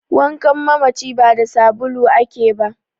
wankan mamaci ba da sbulu ake ba